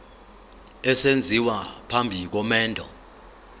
esenziwa phambi komendo